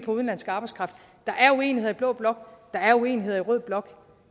udenlandsk arbejdskraft der er uenigheder i blå blok der er uenigheder i rød blok